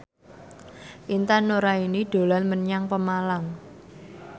Intan Nuraini dolan menyang Pemalang